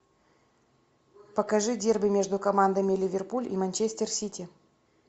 покажи дерби между командами ливерпуль и манчестер сити